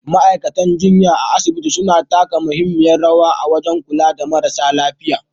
Ma'aikatan jinya a asibitoci suna taka muhimmiyar rawa wajen kula da marasa lafiya.